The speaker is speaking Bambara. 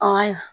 Aa